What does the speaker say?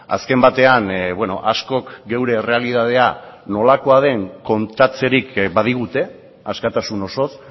azken batean askok geure errealitatea nolakoa den kontatzerik badigute askatasun osoz